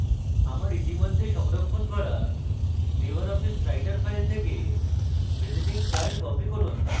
আমার ইতিমধ্যে সংরক্ষণ করা libreoffice writer file থেকে visiting card copy করুন